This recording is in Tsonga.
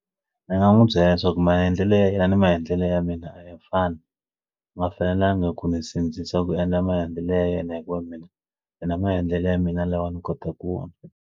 Ndzi nga n'wi byela leswaku maendlelo ya yena na maendlelo ya mina a ya fani ma fanelanga ku n'wi sindzisa ku endla maendlelo ya yena hikuva mina mina maendlelo ya mina lawa ni kota ku pfuna.